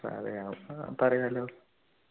പറയാപ്പ പറയാലോ